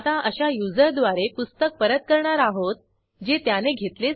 ह्या ट्युटोरियलचे भाषांतर मनाली रानडे यांनी केले असून मी रंजना भांबळे आपला निरोप घेते160